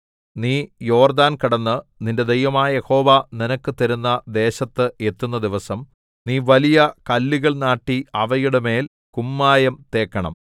നീ യോർദ്ദാൻ കടന്ന് നിന്റെ ദൈവമായ യഹോവ നിനക്ക് തരുന്ന ദേശത്ത് എത്തുന്ന ദിവസം നീ വലിയ കല്ലുകൾ നാട്ടി അവയുടെമേൽ കുമ്മായം തേക്കണം